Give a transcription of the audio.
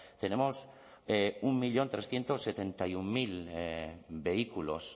tenemos un millón trescientos setenta y uno mil vehículos